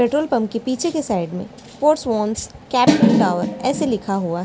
petrol pump के पिछे कि साइड मे कैपिटल टावर ऐसे लिखा हुआ --